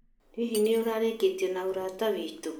Hihi nĩ ũrarikanĩrie na ũrata witũ?